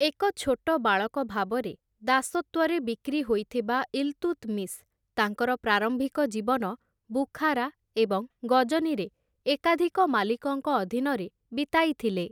ଏକ ଛୋଟ ବାଳକ ଭାବରେ ଦାସତ୍ୱରେ ବିକ୍ରି ହୋଇଥିବା ଇଲତୁତ୍‌ମିଶ୍, ତାଙ୍କର ପ୍ରାରମ୍ଭିକ ଜୀବନ ବୁଖାରା ଏବଂ ଗଜନୀରେ ଏକାଧିକ ମାଲିକଙ୍କ ଅଧୀନରେ ବିତାଇଥିଲେ ।